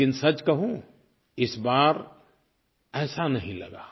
लेकिन सच कहूँ इस बार ऐसा नहीं लगा